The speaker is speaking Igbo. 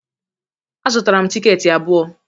Azụtara m tikeeti abụọ